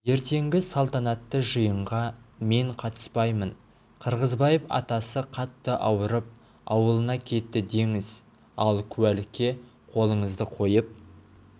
ертеңгі салтанатты жиынға мен қатыспаймын қырғызбаев атасы қатты ауырып ауылына кетті деңіз ал куәлікке қолыңызды қойып